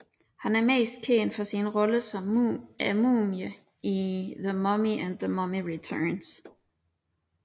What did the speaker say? Han er mest kendt for sine roller som Mumien i The Mummy og The Mummy Returns